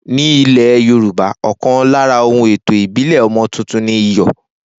Ni ile Yorùbá, ọkan lára ohun ètò ìbílè ọmọ tuntun ni iyò